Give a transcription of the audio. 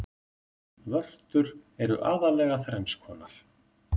vörtur eru aðallega þrenns konar